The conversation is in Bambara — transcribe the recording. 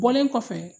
Bɔlen kɔfɛ